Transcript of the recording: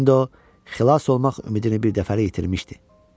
İndi o, xilas olmaq ümidini birdəfəlik itirmişdi.